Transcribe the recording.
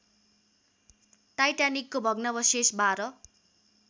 टाइटानिकको भग्नावशेष १२